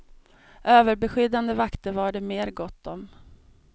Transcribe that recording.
Överbeskyddande vakter var det mer gott om.